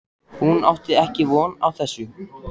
Hún átti ekki von á þessu.